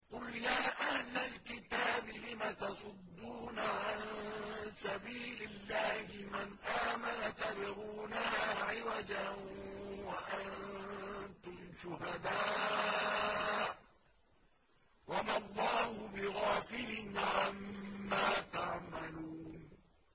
قُلْ يَا أَهْلَ الْكِتَابِ لِمَ تَصُدُّونَ عَن سَبِيلِ اللَّهِ مَنْ آمَنَ تَبْغُونَهَا عِوَجًا وَأَنتُمْ شُهَدَاءُ ۗ وَمَا اللَّهُ بِغَافِلٍ عَمَّا تَعْمَلُونَ